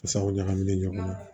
Saga ɲagaminen ɲɔgɔn na